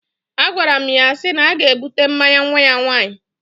Agwaram ya si na aga ebute mmanya nwa ya nwaanyi